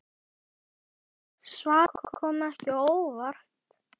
Svarið kom ekki á óvart.